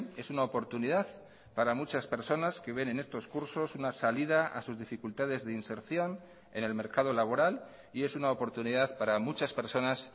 es una oportunidad para muchas personas que ven en estos cursos una salida a sus dificultades de inserción en el mercado laboral y es una oportunidad para muchas personas